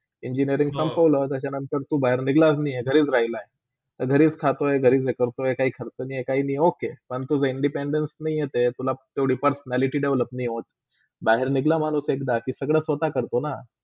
Engineering संपोळ्या त्याच्यानंतर तू बाहेर निंगलास नाही घरीच राहिला, घरीच खातो, घरीच हे करतोय काही खर्च नाही काही नाही okay फक्त Independence नए इथे, तुला तेवड्या personality develop नाही होत. बाहेर निंग्ला माणूस एकदा कि सगळा स्वता करतोना.